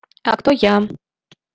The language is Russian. а кто я